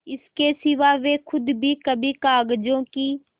इसके सिवा वे खुद भी कभी कागजों की